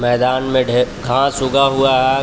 मैदान में ढे घास उगा हुआ हैं घा --